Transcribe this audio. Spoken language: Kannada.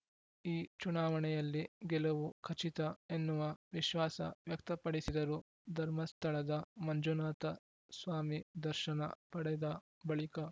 ಈ ಚುನಾವಣೆಯಲ್ಲಿ ಗೆಲುವು ಖಚಿತ ಎನ್ನುವ ವಿಶ್ವಾಸ ವ್ಯಕ್ತಪಡಿಸಿದರು ಧರ್ಮಸ್ಥಳದ ಮಂಜುನಾಥ ಸ್ವಾಮಿ ದರ್ಶನ ಪಡೆದ ಬಳಿಕ